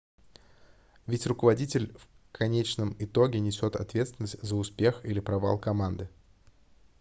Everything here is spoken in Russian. ведь руководитель в конечном итоге несет ответственность за успех или провал команды